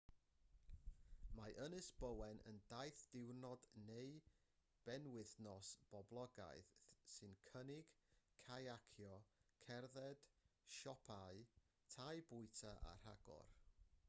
mae ynys bowen yn daith diwrnod neu benwythnos poblogaidd sy'n cynnig cayacio cerdded siopau tai bwyta a rhagor